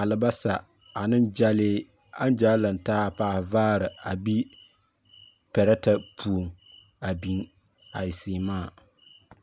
alabasa ane gyɛlee aŋgyaa lantaa a paahe vaare a be pɛgɛtɛ puoŋ a biŋ a e seemaa.